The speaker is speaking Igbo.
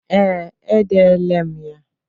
Ee, edele m ya.